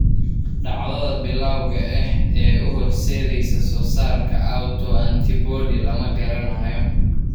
Dhacdada bilawga ah ee u horseedaysa soosaarka autoantibody lama garanayo.